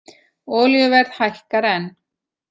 Olíuverð hækkar enn